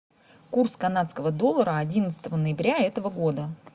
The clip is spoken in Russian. курс канадского доллара одиннадцатого ноября этого года